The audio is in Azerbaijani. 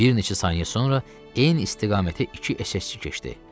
Bir neçə saniyə sonra eyni istiqamətə iki SSçi keçdi.